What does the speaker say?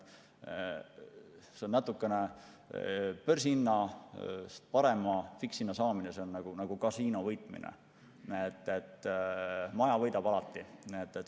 See, et börsihinnast paremat fikshinda saada, on natuke nagu kasiinos võitmine: maja võidab alati.